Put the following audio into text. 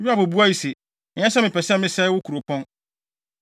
Yoab buae se, “Ɛnyɛ sɛ mepɛ sɛ mesɛe wo kuropɔn.